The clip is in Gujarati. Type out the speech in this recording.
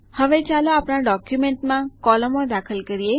હવે ચાલો આપણા ડોક્યુમેન્ટમાં કોલમો દાખલ કરીએ